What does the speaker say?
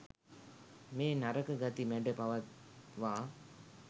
මේ නරක ගති මැඩ පවත්වා